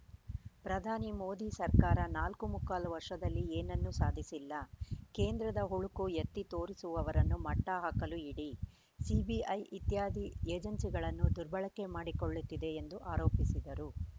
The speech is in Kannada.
ಪ್ರಧಾನಿ ಮೋದಿ ಸರ್ಕಾರ ನಾಲ್ಕು ಮುಕ್ಕಾಲು ವರ್ಷದಲ್ಲಿ ಏನನ್ನೂ ಸಾಧಿಸಿಲ್ಲ ಕೇಂದ್ರದ ಹುಳುಕು ಎತ್ತಿ ತೋರಿಸುವವರನ್ನು ಮಟ್ಟಹಾಕಲು ಇಡಿ ಸಿಬಿಐ ಇತ್ಯಾದಿ ಏಜೆನ್ಸಿಗಳನ್ನು ದುರ್ಬಳಕೆ ಮಾಡಿಕೊಳ್ಳುತ್ತಿದೆ ಎಂದು ಆರೋಪಿಸಿದರು